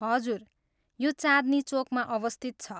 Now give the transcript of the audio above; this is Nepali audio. हजुर, यो चाँदनी चौकमा अवस्थित छ।